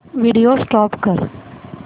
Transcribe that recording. video stop कर